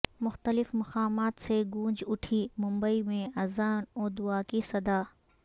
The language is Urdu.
مختلف مقامات سے گونج اٹھی ممبئی میں اذان و دعا کی صدا